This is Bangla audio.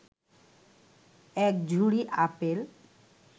এক ঝুড়ি আপেল